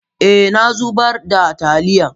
eh, na zubar da taliyan